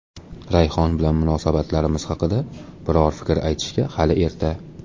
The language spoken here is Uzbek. Rayhon bilan munosabatlarimiz haqida biror fikr aytishga hali erta.